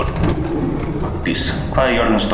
Aldís, hvað er jörðin stór?